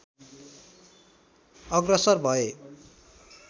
अग्रसर भए